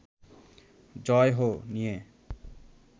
‘জয় হো’ নিয়ে